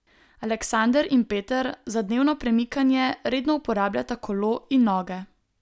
Aleksander in Peter za dnevno premikanje redno uporabljata kolo in noge.